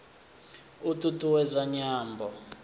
u t ut uwedza nyambo